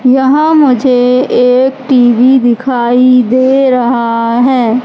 यहां मुझे एक टी_वी दिखाई दे रहा है।